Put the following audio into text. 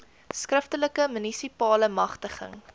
skriftelike munisipale magtiging